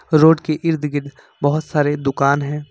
Road के इर्द गिर्द बहुत सारे दुकान हैं।